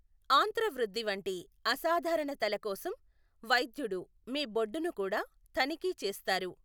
ఆంత్రవృద్ధి వంటి అసాధారణతల కోసం వైద్యుడు మీ బొడ్డును కూడా తనిఖీ చేస్తారు.